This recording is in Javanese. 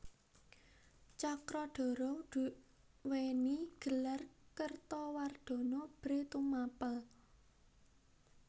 Cakradhara duwéni gelar Kertawardhana Bhre Tumapel